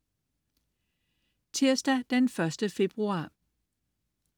Tirsdag den 1. februar